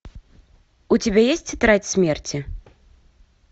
у тебя есть тетрадь смерти